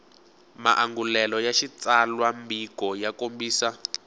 maangulelo ya xitsalwambiko ya kombisa